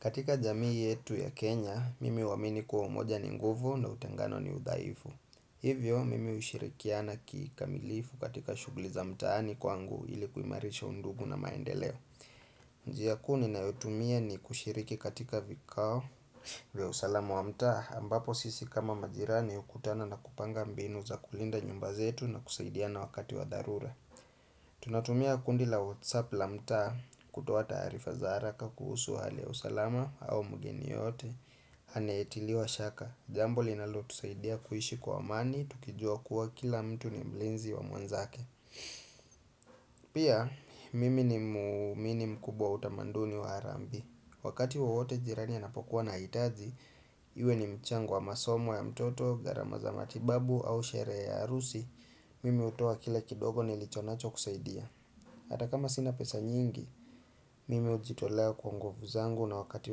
Katika jamii yetu ya Kenya, mimi huamini kua umoja ni nguvu na utengano ni udhaifu. Hivyo, mimi ushirikiana kikamilifu katika shugli za mtaani kwangu ili kuimarisha undugu na maendeleo. Njia kuu ninayotumia ni kushiriki katika vikao vya usalamu wa mtaa, ambapo sisi kama majirani ukutana na kupanga mbinu za kulinda nyumba zetu na kusaidiana wakati wa dharura. Tunatumia kundi la whatsapp la mtaa kutoa taarifa za haraka kuhusu hali ya usalama au mgeni yeyote anayetiliwa shaka Jambo linalo tusaidia kuishi kwa amani, tukijua kuwa kila mtu ni mlinzi wa mwenzake Pia, mimi ni muumini mkubwa wa utamaduni wa harambi Wakati wowote jirani anapokuwa na hitaji Iwe ni mchango wa masomo ya mtoto, gharama za matibabu au sherehe ya harusi Mimi hutoa kila kidogo nilichonacho kusaidia Ata kama sina pesa nyingi, mimi hujitolea kwa nguvu zangu na wakati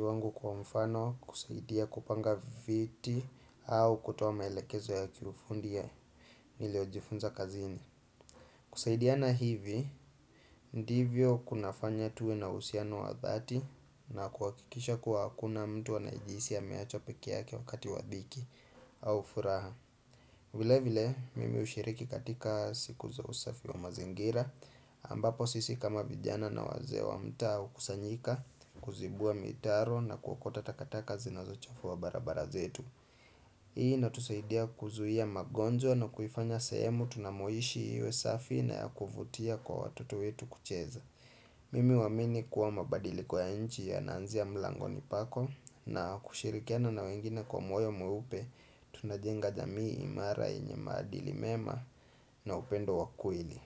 wangu kwa mfano kusaidia kupanga viti au kutoa maelekezo ya kiufundi ya nilio hujifunza kazini. Kusaidiana hivi, ndivyo kunafanya tuwe na uhusiano wa dhati na kuhakikisha kuwa hakuna mtu anajihisi ameachwa peke yake wakati wa dhiki au furaha. Vile vile, mimi ushiriki katika siku za usafi wa mazingira, ambapo sisi kama vijana na wazee wa mtaa hukusanyika, kuzibua mitaro na kuokota takataka zinazo chafua barabara zetu. Hii inatusaidia kuzuia magonjwa na kuifanya sehemu tunamoishi iwe safi na ya kuvutia kwa watoto wetu kucheza. Mimi uamini kuwa mabadiliko ya nchi yanaanzia mlangoni pako na kushirikiana na wengine kwa moyo mweupe tunajenga jamii imara yenye maadili mema na upendo wakweli.